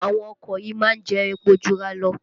Àwọn ọkọ̀ yìí má ń jẹ́ epo Jura lọ